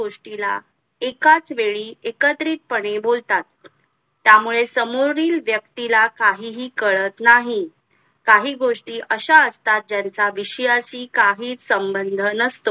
गोष्टीला एकाच वेळी एकत्रितपणे बोलतात. त्या मुळे समोरील व्यक्ती ला काहीही काळात नाही काही गोष्टी अश्या असता ज्यांचा विषयाशी काहीही संबंध नस~